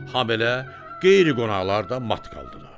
Həm elə qeyri-qonaqlar da mat qaldılar.